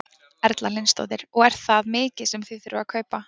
Erla Hlynsdóttir: Og er það mikið sem þið þurfið að kaupa?